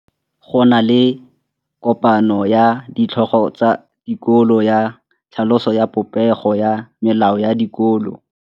Go na le kopanô ya ditlhogo tsa dikolo ya tlhaloso ya popêgô ya melao ya dikolo.